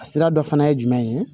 A sira dɔ fana ye jumɛn ye